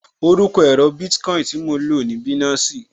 Orúkọ èro Bitcoin tí mo lò ní Binansi